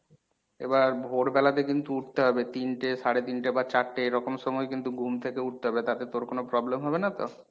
এবার ভোরবেলাতে কিন্তু উঠতে হবে তিনটে সাড়ে তিনটে বা চারটে এরকম সময় কিন্তু ঘুম থেকে উঠতে হবে তাতে তোর কোনো problem হবে না তো?